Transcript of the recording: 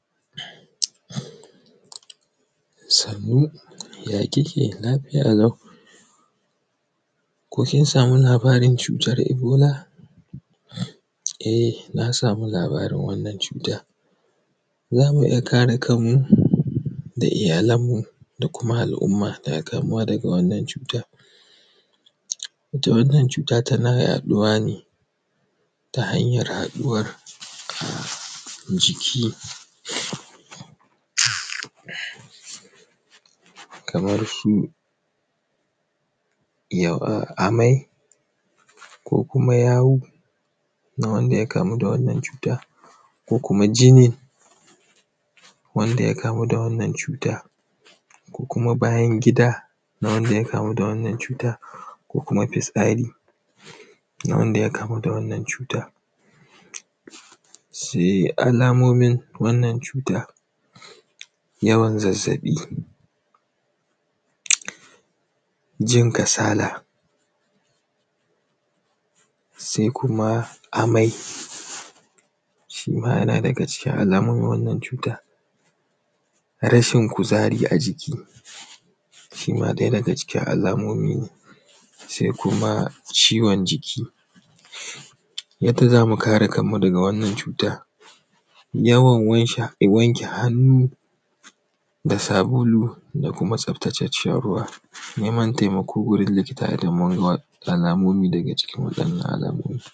Sannu, ya kike? Lafiya lau. Ko kin samu labarin cutar Ebola? E, na samu labarin wannan cuta. Za mu iya kare kanmu da iyalanmu da kuma al’umma daga kamuwa daga wannan cuta. Ita wannan cuta tana yaɗuwa ne ta hanyar haɗuwar jiki kamar su amai ko kuma yawu na wanda ya kamu da wannan cuta ko kuma jinin wanda ya kamu da wannan cuta ko kuma bayan gida na wanda ya kamu da wannan cuta ko kuma fitsari na wanda ya kamu da wannan cuta. Sai alamomin wannan cuta: yawan zazzaɓi, jin kasala, sai kuma amai, shi ma yana daga cikin alamomin wannan cuta, rashin kuzari a jiki, shi ma ɗaya daga cikin alamomi ne, sai kuma ciwon jiki. Yadda za mu kare kanmu daga wannan cuta: yawan wanke hannu da sabulu da kuma tsaftatacciyar ruwa, neman taimako wurin likita domin alamomi daga cikin waɗannan alamomi.